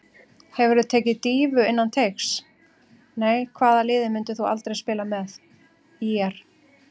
Þær geta komist af án lífrænnar næringar og eru því frumbjarga.